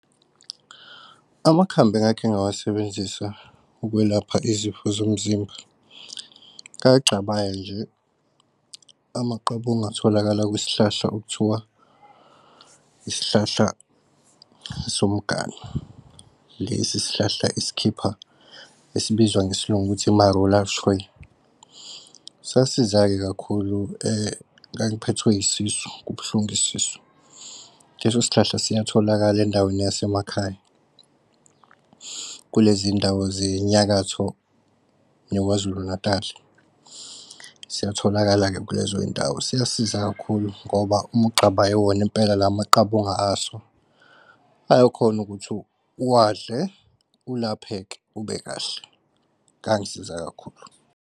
Amakhambi engakhe ngawasebenzisa ukwelapha izifo zomzimba. Ngagcabaya nje amaqabunga ongatholakala kwisihlahla okuthiwa yisihlahla somganu. Lesi sihlahla sikhipa esibizwa ngesiLungu ukuthi i-marula tree sasiza-ke kakhulu, ngangiphethwe isisu kubuhlungu isisu. Leso sihlahla siyatholakala endaweni yasemakhaya kulezi ndawo zenyakatho neKwaZulu-Natal, siyatholakala-ke kulezo zindawo. Siyasiza kakhulu ngoba uma ugcabaye wona impela, la maqabunga aso ayakhona ukuthi uwadle ulapheke ubekahle, angisiza kakhulu.